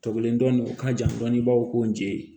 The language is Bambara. Tɔbɔlen dɔnni u ka jan dɔɔni i b'a fɔ ko n je